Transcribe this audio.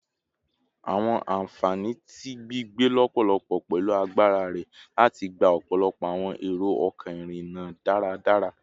Awọn anfani ti gbigbe lọpọlọpọ pẹlu agbara rẹ lati gba ọpọlọpọ awọn ero-ọkọ irinna daradara